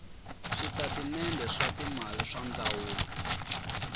switatimende swa timali swa ndzawulo